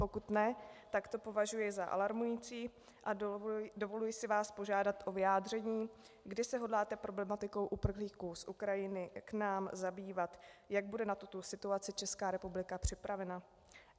Pokud ne, tak to považuji za alarmující a dovoluji si vás požádat o vyjádření, kdy se hodláte problematikou uprchlíků z Ukrajiny k nám zabývat, jak bude na tuto situaci Česká republika připravena.